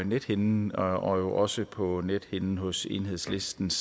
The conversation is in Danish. nethinden og jo også på nethinden hos enhedslistens